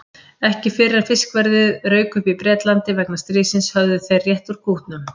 Ekki fyrr en fiskverðið rauk upp í Bretlandi vegna stríðsins höfðu þeir rétt úr kútnum.